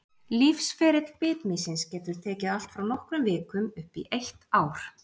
Lífsferill bitmýsins getur tekið allt frá nokkrum vikum upp í eitt ár.